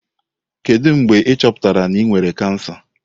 Kedu mgbe a chọpụtara na ị nwere kansa?